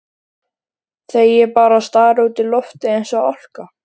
Þegir bara og starir út í loftið eins og álka.